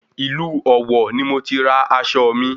Ìlú Ọ̀wọ̀ ni mo ti ra aṣọ mi